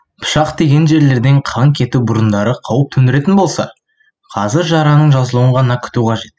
пышақ тиген жерлерден қан кету бұрындары қауіп төндіретін болса қазір жараның жазылуын ғана күту қажет